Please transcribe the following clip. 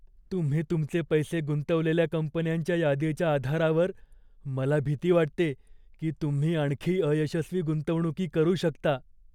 तुम्ही तुमचे पैसे गुंतवलेल्या कंपन्यांच्या यादीच्या आधारावर, मला भीती वाटते की तुम्ही आणखी अयशस्वी गुंतवणुकी करू शकता.